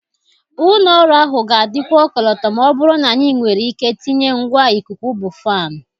Ụlọ ọrụ ahụ ga-adịkwu ọkọlọtọ ma ọ bụrụ na anyị nwere ike tinye ngwa ikuku bụ fanụ.